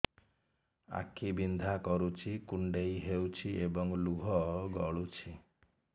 ଆଖି ବିନ୍ଧା କରୁଛି କୁଣ୍ଡେଇ ହେଉଛି ଏବଂ ଲୁହ ଗଳୁଛି